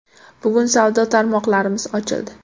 Bugun savdo tarmoqlarimiz ochildi.